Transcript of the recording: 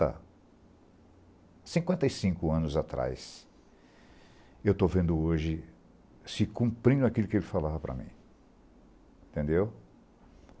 a cinquenta e cinco anos atrás, estou vendo hoje se cumprindo aquilo que ele falava para mim, entendeu.